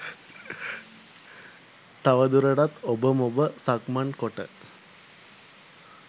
තවදුරටත් ඔබමොබ සක්මන් කොට